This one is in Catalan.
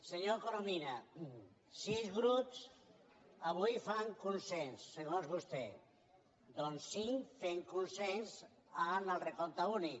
senyor corominas sis grups avui fan consens segons vostè doncs cinc fem consens en el recompte únic